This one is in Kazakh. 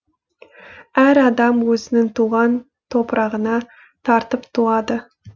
әр адам өзінің туған топырағына тартып туады